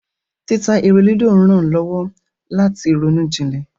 Títa eré lúdò rán lowo lati roún jilè.